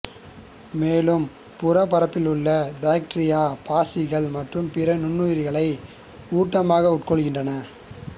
மேலும் புறப்பரப்பிலுள்ள பாக்டீரியா பாசிகள் மற்றும் பிற நுண்ணுயிரிகளை ஊட்டமாகக் உட்கொள்கின்றன